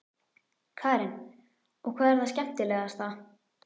Hún byltir sér í grasinu, henni horfin værðin.